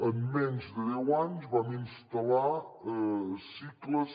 en menys de deu anys vam instal·lar cicles